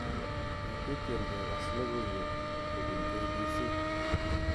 Metien kekass logoiwek kobun K.B.C